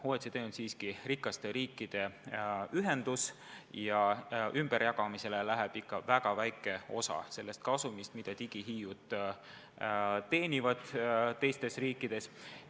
OECD on siiski rikaste riikide ühendus ja ümberjagamisele läheb väga väike osa sellest kasumist, mida digihiiud teenivad teistes riikides.